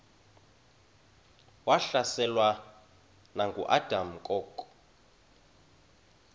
wahlaselwa nanguadam kok